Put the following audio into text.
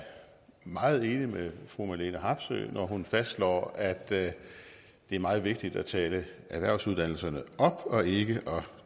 meget enig med fru marlene harpsøe når hun fastslår at det er meget vigtigt at tale erhvervsuddannelserne op og ikke